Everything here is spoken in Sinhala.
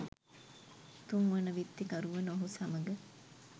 තුන්වන විත්තිකරු වන ඔහු සමග